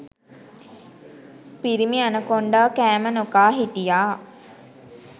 පිරිමි ඇනකොන්ඩා කෑම නොකා හිටියා